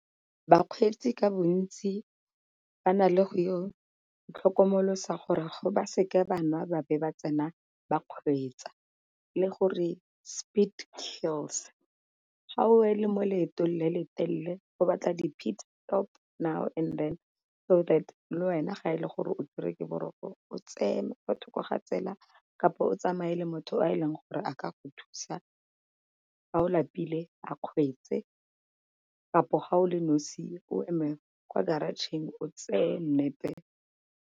Bakgweetsi ka bontsi ba na le go itlhokomolosa gore go ba seke nwa ba be ba tsena ba kgweetsa, le gore speed kills. Ga o le mo loetong le le telele go batla di now and then. So that le wena ga e le gore o tshwerwe ke boroko o tseye kwa thoko ga tsela kapa o tsamae le motho o e leng gore a ka go thusa ga o lapile a kgweetse, kampo ga o le nosi o eme kwa garage-tšheng o tseye nap-e.